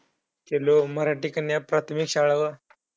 मराठी कन्या व प्राथमिक शाळा व